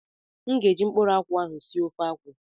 M ga eji mkpuru akwụ ahụ sie ofe akwụ